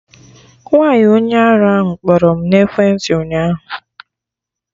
Nwaanyi onye arụ kpọrọ m n'ekwentị ụnyaahụ